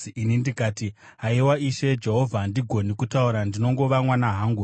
Ini ndikati, “Haiwa, Ishe Jehovha, handigoni kutaura; ndinongova mwana hangu.”